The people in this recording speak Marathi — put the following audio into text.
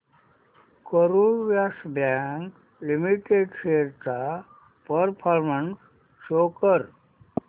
Karur Vysya Bank Limited shares चा परफॉर्मन्स शो कर